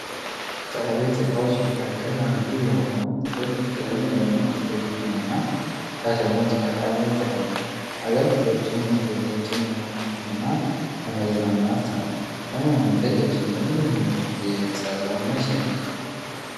ከእቤት እቃዎች መካከል አንዱ የሆነው ጥቁር ስክሪን የሆነ ቴሌቪዥን እና ሪሞት በእቃ ላይ ተቀምጧል አገልግሎቱም መረጃዎችን ለማግኘት እና ለመዝናኛነት ነው። ለመሆኑ ቴሌቭዥን ለመጀመሪያ ጊዜ የተሰራው መቼ ነው?